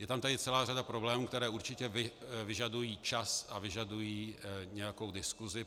Je tam tedy celá řada problémů, které určitě vyžadují čas a vyžadují nějakou diskusi.